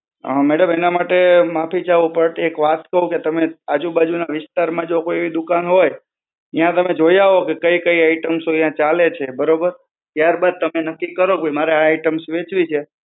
અ madam એના માટે માફી ચાહું. બટ એક વાત કહું, કે તમે આજુબાજુના વિસ્તારમાં જો કોઈ દુકાન હોય ત્યાં તમે જોઈ આવો કે કઈ કઈ items અહયાં ચાલે છે, બરોબર? ત્યારબાદ તમે નક્કી કરો કે ભઈ મારા આ items વહેંચવી છે.